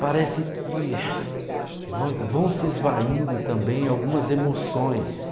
parece que vão vão se esvaindo também algumas emoções.